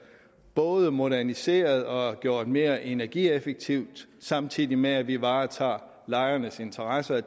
både moderniseret og gjort mere energieffektivt samtidig med at vi varetager lejernes interesser